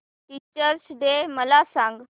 teachers day मला सांग